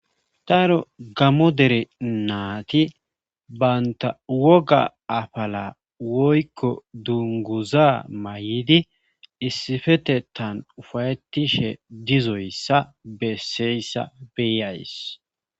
taaro gammo dere naati banta woga afala woykko dunguza may'idi issifetetan ufayettishe dizoyssa besseyssa beyays